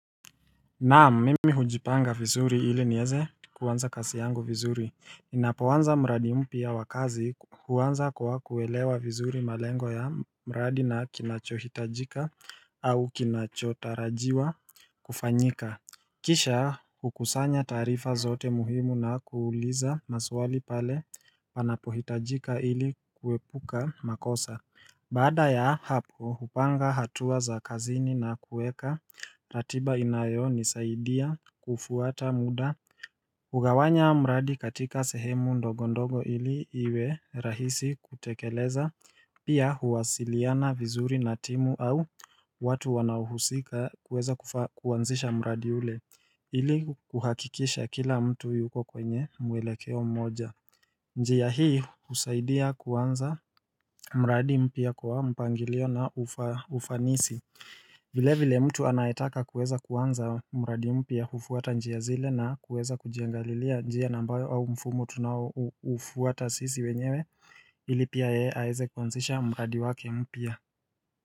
Naam mimi hujipanga vizuri ili nieze kuwanza kazi yangu vizuri Ninapoanza mradi mpya wa kazi kuwanza kwa kuwelewa vizuri malengo ya mradi na kinachohitajika au kinachotarajiwa kufanyika Kisha hukusanya taarifa zote muhimu na kuuliza maswali pale panapohitajika ili kuepuka makosa Baada ya hapo hupanga hatua za kazini na kuweka ratiba inayoni saidia kufuata muda hugawanya mradi katika sehemu ndogondogo ili iwe rahisi kutekeleza Pia huwasiliana vizuri na timu au watu wanaohusika kuweza kuanzisha mradi ule ili kuhakikisha kila mtu yuko kwenye mwelekeo mmoja njia hii husaidia kuanza mradi mpya kwa mpangilio na ufanisi vile vile mtu anaetaka kuweza kuanza mradi mpya hufuata njia zile na kuweza kujiangalilia njia ambayo au mfumo tunawo ufuwata sisi wenyewe ilipia yeye aweze kuanzisha mradi wake mpya.